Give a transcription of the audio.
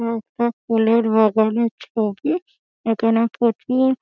এটা একটা ফুলের বাগানের ছবি এখানে প্রচুর--